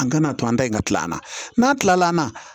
An kana to an da in ka tila an na n'a kilala an na